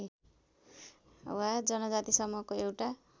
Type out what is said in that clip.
वा जनजाति समूहको एउटा